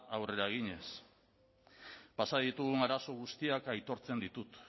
aurrera eginez pasa ditugun arazo guztiak aitortzen ditut